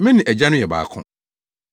Me ne Agya no yɛ baako.”